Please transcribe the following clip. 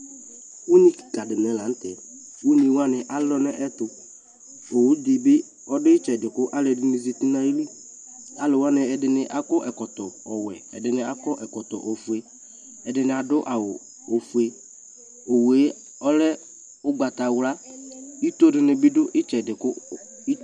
ʋnyi kikaa dini lantɛ, ʋnyi wani alɔ nʋ ɛtʋ ɔwʋ dibi ɔdʋ itsɛdi kʋ alɔɛdini zati nʋ ayili, alʋ wani ɛdini akɔ ɛkɔtɔ, ɛdini akɔ ɛkɔtɔ ƒʋɛ, ɛdini adʋ ɔƒʋɛ, ɔwʋɛ ɔlɛ ɔgbatawla, itɔ dini bi dʋitsɛdi kʋ